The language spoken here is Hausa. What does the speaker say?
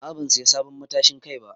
A'a ban siya sabon matashin Kai ba.